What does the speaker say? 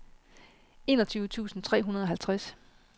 enogtyve tusind tre hundrede og halvtreds